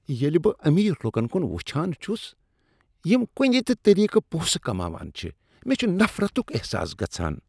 ییلہ بہٕ امیر لکن کن وٕچھان چھس یم کنہ تِہ طریقہٕ پونٛسہٕ کماوان چھ، مےٚ چھ نفرتک احساس گژھان۔